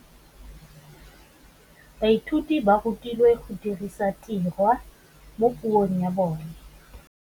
Baithuti ba rutilwe go dirisa tirwa mo puong ya bone.